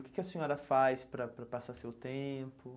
O que que a senhora faz para para passar seu tempo?